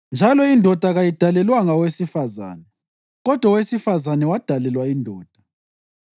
njalo indoda kayidalelwanga owesifazane kodwa owesifazane wadalelwa indoda.